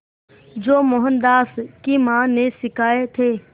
जो मोहनदास की मां ने सिखाए थे